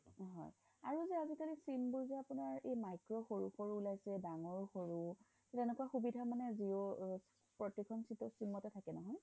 আৰু যে আজিকালি sim বোৰ যে আপোনাৰ এই micro সৰু সৰু ওলাইছে ডাঙৰ সৰু কেনেকুৱা সুবিধা মানে প্ৰতি খন sim তে থাকে নহয়